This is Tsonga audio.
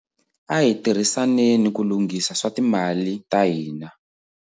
A hi tirhisaneni ku lunghisa swa timali ta hina